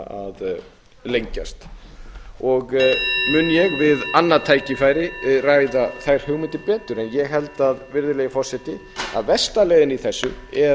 að lengjast mun ég við annað tækifæri ræða þær hugmyndir betur en ég held að versta leiðin í þessu sé